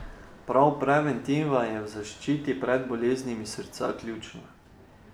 Prav preventiva je v zaščiti pred boleznimi srca ključna.